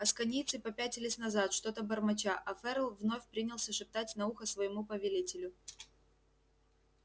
асконийцы попятились назад что-то бормоча а ферл вновь принялся шептать на ухо своему повелителю